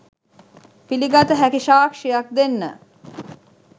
පිළිගත හැකි සාක්ෂියක් දෙන්න